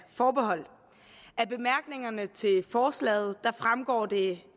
forbehold af bemærkningerne til forslaget fremgår det